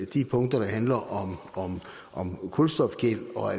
de punkter der handler om kulstofgæld og